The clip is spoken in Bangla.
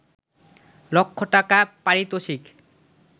লক্ষ টাকা পারিতোষিক